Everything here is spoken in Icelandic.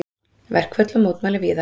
Verkföll og mótmæli víða